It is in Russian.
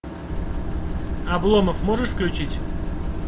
обломов можешь включить